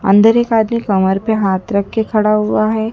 अंदर एक आदमी कमर पर हाथ रख कर खड़ा हुआ है।